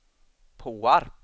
Påarp